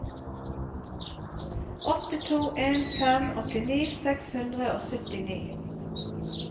åtte to en fem åttini seks hundre og syttini